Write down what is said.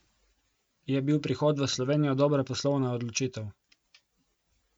Je bil prihod v Slovenijo dobra poslovna odločitev?